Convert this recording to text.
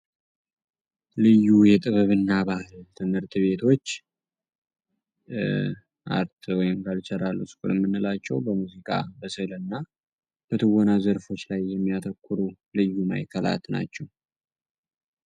ልዩ የጥበብ እና ባህል ትምህርት ቤቶች አርት ወይም ካልቸራል ስኩል የምንላቸው በሙዚቃ፣ በስዕል እና በትወና ዘርፎች ላይ የሚያተኩሩ ልዩ ማዕከላት ናቸው።